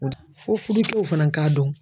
Fo fuducɛw fana k'a dɔn